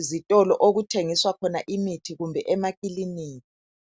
ezitolo okuthengiswa khona imithi kumbe emakiliniki.